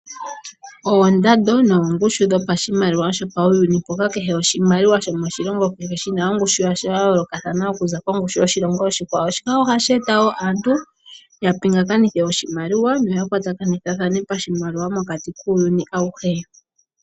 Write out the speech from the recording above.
Oondando noongushu dhopashimaliwa shopauyuni mpoka kehe oshimaliwa shomoshilongo kehe shina ongushu yasho ya yoolokathana okuza kongushu yoshilongo oshikwawo, shika ohashi eta woo aantu ya pingakanithe oshimaliwa noya kwatakanithathane pashimaliwa mokati kuuyuni awuhe.